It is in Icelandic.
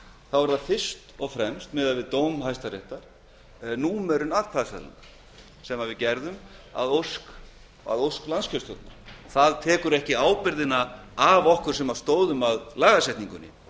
er það fyrst og fremst miðað við dóm hæstaréttar númerun atkvæðaseðlanna sem við gerðum að ósk landskjörstjórnar það tekur ekki ábyrgðina af okkur sem stóðum að lagasetningunni